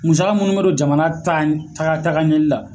Musaka munnu be don jamana ta taga tagaɲɛli la.